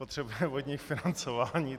Potřebujeme od nich financování.